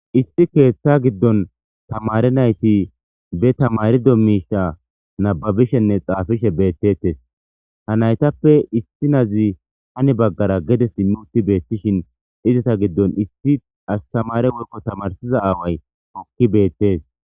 isti keeththa giddon tamare nayti be tamarido miisha nababishenne xaafishe beettettes ha naytappe isti nazi hani baggara gedes immuti beettishin izata giddon isti astamare wolkko tamarsiza aaway okki beettees